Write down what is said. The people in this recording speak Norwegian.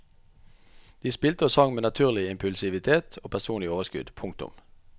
De spilte og sang med naturlig impulsivitet og personlig overskudd. punktum